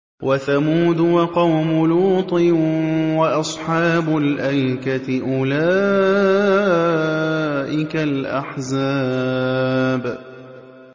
وَثَمُودُ وَقَوْمُ لُوطٍ وَأَصْحَابُ الْأَيْكَةِ ۚ أُولَٰئِكَ الْأَحْزَابُ